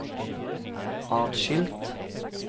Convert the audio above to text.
atskilt